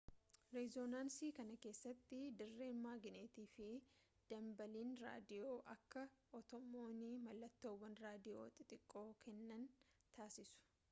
rezoonansii kana keessatti dirreen maagneetii fi danbaaliin raadiyoo akka atomoonni mallattoowwan raadiyoo xixiqqoo kennan taasisu